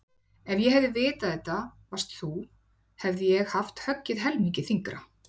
Ef ég hefði vitað að þetta varst þú hefði ég haft höggið helmingi þyngra